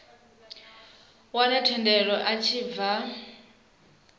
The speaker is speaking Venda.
wane thendelo a tshi bva